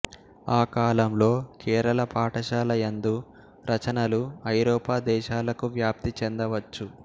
ఆ కాలంలో కేరళ పాఠశాల యందు రచనలు ఐరోపా దేశాలకు వ్యాప్తి చెందవచ్చు